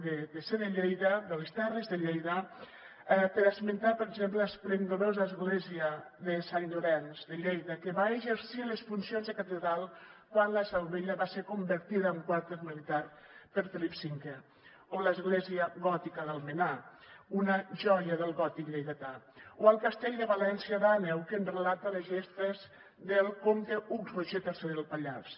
de ser de lleida de les terres de lleida per esmentar per exemple l’esplendorosa església de sant llorenç de lleida que va exercir les funcions de catedral quan la seu vella va ser convertida en quarter militar per felip v o l’església gòtica d’almenar una joia del gòtic lleidatà o el castell de valència d’àneu que ens relata les gestes del comte hug roger iii del pallars